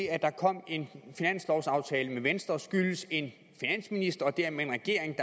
at der kom en finanslovsaftale med venstre skyldes en finansminister og dermed regering